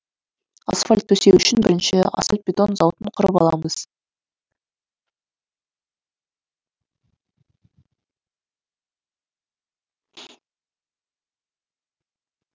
асфальт төсеу үшін бірінші асфальт бетон зауытын құрып аламыз